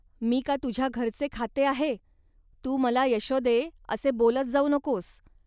मी का तुझ्या घरचे खाते आहे. तू मला, येश्वदे, असे बोलत जाऊ नकोस